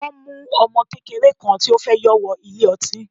Wọ́n mu ọmọ kékeré kan tí ó fẹ́ yọ wọ ilé ọtí.